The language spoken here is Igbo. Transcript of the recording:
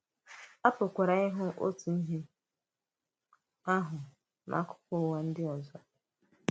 À pụ̀kwara ịhụ̀ òtù ihe ahụ n’akụkụ Ụ̀wà ndị ọzọ.